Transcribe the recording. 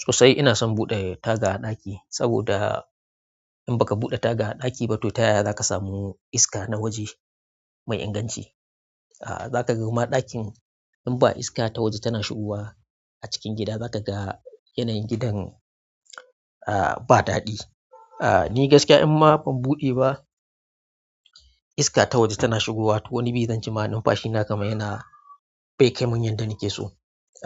Sosai ina son buɗe taga a ɗaki, saboda in baka buɗe taga a ɗaki ba to ta yaya za ka samu iska na waje mai inganci? Za ka kuma ɗakin in ba iska ta waje tana shigowa a cikin gida za ka ga yanayin gidan ah ba daɗi. Ni gaskiya in ma ban buɗe ba iska ta waje tana shigowa toh wani zan ce ma numfashi na kamar yana bai kamin yadda nake so.